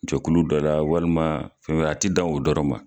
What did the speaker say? Gɛkulu dɔ la walima fɛn a ti dan o dɔrɔn ma.